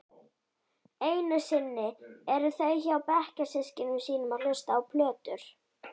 Einusinni eru þau hjá bekkjarsystkinum sínum að hlusta á plötur.